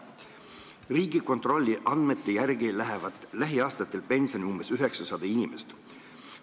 Riigikontrolli andmete järgi läheb lähiaastatel pensionile 900 inimest.